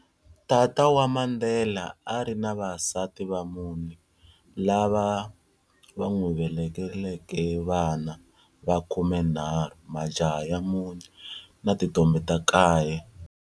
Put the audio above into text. Tata wa Mandela a a ri na vasati va mune, lava va nwi velekeleke vana va khumenharhu, mjaha ya mune na tintombhi ta nkaye